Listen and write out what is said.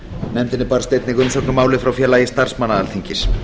nefndinni barst einnig umsögn um málið frá félagi starfsmanna alþingis